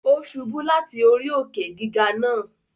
Ó ṣubú láti orí òkè-gígà náà